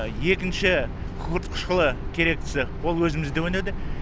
екінші күкірт қышқылы керектісі ол өзімізде өнеді